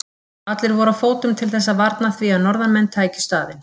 Allir voru á fótum til þess að varna því að norðanmenn tækju staðinn.